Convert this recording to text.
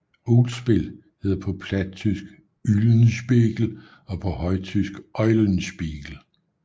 Uglspil hedder på plattysk Ulenspegel og på højtysk Eulenspiegel